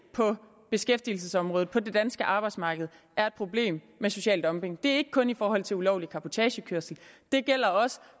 på beskæftigelsesområdet på det danske arbejdsmarked er et problem med social dumping det er ikke kun i forhold til ulovlig cabotagekørsel det gælder også